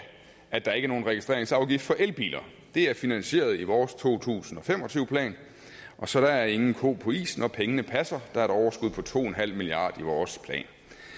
at der er nogen registreringsafgift for elbiler det er finansieret i vores to tusind og fem og tyve plan så der er ingen ko på isen pengene passer og der er et overskud på to milliard i vores plan